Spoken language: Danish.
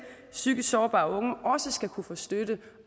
psykisk sårbare unge også skal kunne få støtte